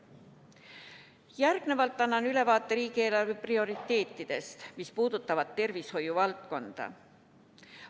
Järgnevalt annan ülevaate riigieelarve prioriteetidest, mis puudutavad tervishoiu valdkonda.